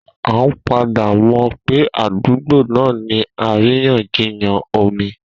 A padà mọ̀ pé àdúgbò náà ní àríyànjiyàn omi.